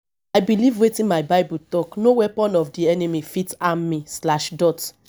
i beliv wetin my bible talk no weapon of di enemy fit harm me slash dot